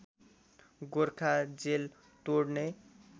Gorkha jail तोड्ने